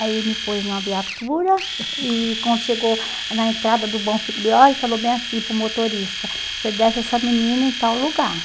Aí me pôs numa viatura e quando chegou na entrada do Bom Figlioli, falou bem assim para o motorista, você desce essa menina em tal lugar.